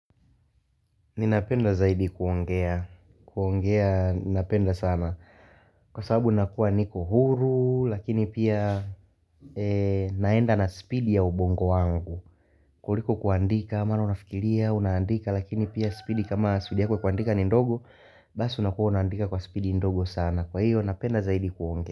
Ninapenda zaidi kuongea. Kuongea, ninapenda sana. Kwa sababu nakuwa niko huru, lakini pia naenda na spidi ya ubongo wangu. Kuliko kuandika maana unafikilia, unandika, lakini pia spidi kama spidi yako ya kuandika ni ndogo, basi unakuwa unaandika kwa spidi ndogo sana. Kwa hiyo napenda zaidi kuongea.